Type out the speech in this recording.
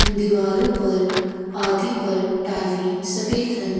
अन दीवारों पर आदि पर टाइले सफेद रंग।